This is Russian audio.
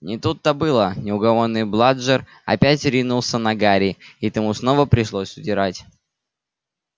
не тут-то было неугомонный бладжер опять ринулся на гарри и тому снова пришлось удирать